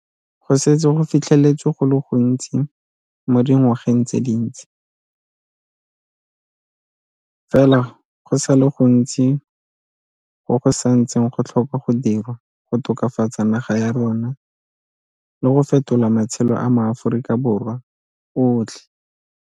Go setse go fitlheletswe go le gontsi mo dingwageng tse dintsi, fela go sa le go ntsi go go sa ntseng go tlhokwa go dirwa go tokafatsa naga ya rona le go fetola matshelo a maAforika Borwa otlhe.